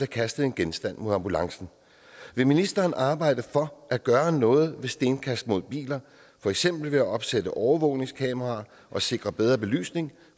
kastet en genstand mod ambulancen vil ministeren arbejde for at gøre noget ved stenkast mod biler for eksempel ved at opsætte overvågningskameraer og sikre bedre belysning